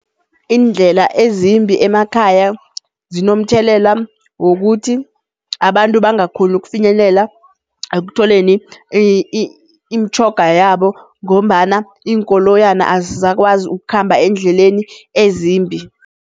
Iindlela ezimbi emakhaya zinomthelela wokuthi abantu bangakhoni ukufinyelela ekutholeni imitjhoga yabo ngombana iinkoloyana azisakwazi ukukhamba eendleleni ezimbi.